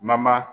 Mama